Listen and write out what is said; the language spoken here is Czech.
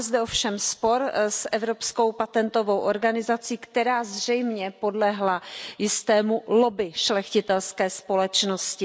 Máme zde ovšem spor s Evropským patentovým úřadem, která zřejmě podlehla jistému lobby šlechtitelské společnosti.